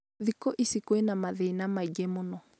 thĩkũ ici kwĩ na mathĩna maĩngĩ mũno